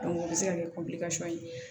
o bɛ se ka kɛ ye